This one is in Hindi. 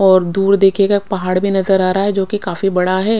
और दूर देखिएगा पहाड़ भी नजर आ रहा है काफी बड़ा है।